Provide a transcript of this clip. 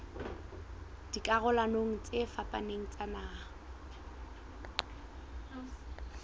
dikarolong tse fapaneng tsa naha